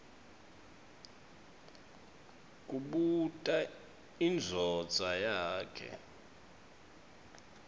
kubuta indvodza yakhe